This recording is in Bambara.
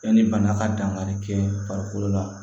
Yanni bana ka dankari kɛ farikolo la